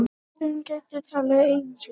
Ávöxtunarkrafa gæti tafið eignasölu